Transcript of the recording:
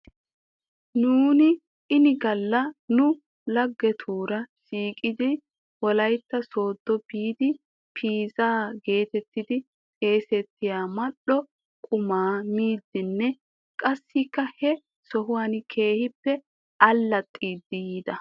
Nuuni inigalla nu laggetuura shiiqettidi wolaytta soodo biidi piizaa geetettidi xeesettiyaa mal"o qumaa miidinne qassikka he sohuwan keehippe allaxxidi yiida.